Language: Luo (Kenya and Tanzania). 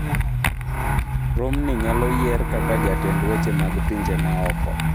Romney nyalo yier kaka jatend weche mag pinje ma oko